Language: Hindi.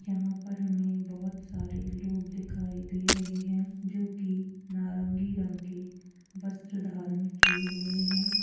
यहाँ पर हमें बहुत सारे लोग दिखाई दे रहे है जो कि नारंगी रंग के वस्र धारण किये हुए हैं।